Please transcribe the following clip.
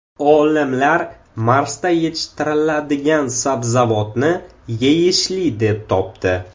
Olimlar Marsda yetishtiriladigan sabzavotni yeyishli deb topdi.